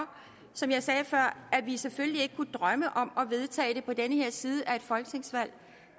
som jeg sagde før at vi selvfølgelig ikke kunne drømme om at vedtage det på den her side af et folketingsvalg